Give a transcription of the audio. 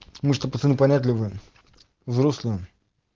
мы ж то пацаны понятливые взрослые